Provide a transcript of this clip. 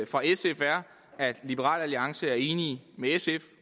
fra sf er at liberal alliance er enig med sf